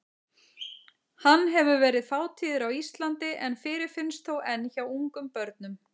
Hann hefur verið fátíður á Íslandi en fyrirfinnst þó enn hjá ungum börnum.